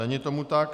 Není tomu tak.